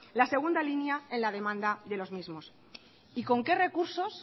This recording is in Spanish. la segunda línea en la demanda de los mismos y con qué recursos